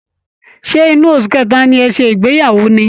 Ṣé inú oṣu kẹta ni ẹ ṣé ìgbeyàwó ni?